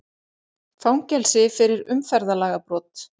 Fangelsi fyrir umferðarlagabrot